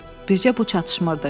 Bircə bu çatışmırdı.